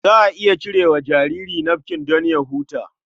Za a iya cire wa jariri nafkin don ya huta.